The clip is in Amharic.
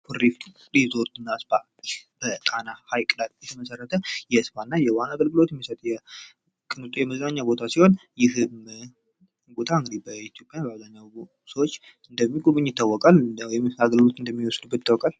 ኩሪፍቱ ሪዞርትና ስፓ በጣና ሐይቅ ላይ የተመሰረተ የስፓ እና የዋና አገልግሎት የሚሰጥ ቅንጦ የመዝናኛ ቦታ ሲሆን ይህ በኢትዮጵያ በአብዛኛው ሰዎች እንደሚጎበኝ ይታወቃል ወይም አገልግሎት እንደሚወስዱበት ይታወቃል።